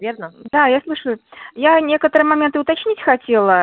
верно да я слушаю я некоторые моменты уточнить хотела